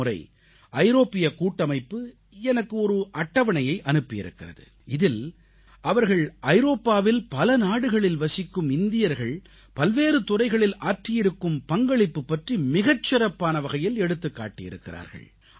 இந்த முறை ஐரோப்பிய கூட்டமைப்பு எனக்கு ஒரு அட்டவணையை அனுப்பியிருக்கிறது இதில் அவர்கள் ஐரோப்பாவில் பல நாடுகளில் வசிக்கும் இந்தியர்கள் பல்வேறு துறைகளில் ஆற்றியிருக்கும் பங்களிப்பு பற்றி மிகச் சிறப்பான வகையில் எடுத்துக் காட்டியிருக்கிறார்கள்